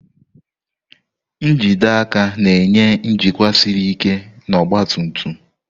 njide aka na-enye njikwa siri ike na ọgba tum tum.